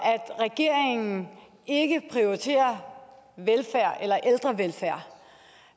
at regeringen ikke prioriterer ældrevelfærd